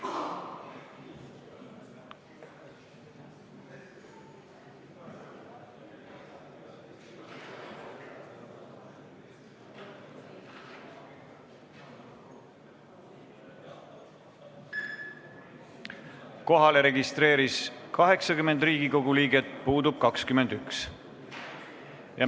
Kohaloleku kontroll Kohalolijaks registreerus 80 Riigikogu liiget, puudub 21.